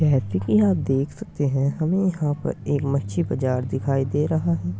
जैसे कि आप देख सकते हैं हमे यहाँ पर एक मच्छी बाजार दिखाई दे रहा है।